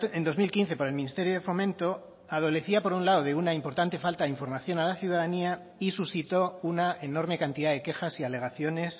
en dos mil quince por el ministerio de fomento adolecía por un lado de una importante falta de información a la ciudadanía y suscitó una enorme cantidad de quejas y alegaciones